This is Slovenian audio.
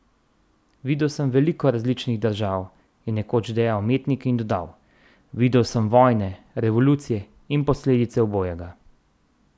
Videl sem veliko različnih držav," je nekoč dejal umetnik in dodal: "Videl sem vojne, revolucije in posledice obojega.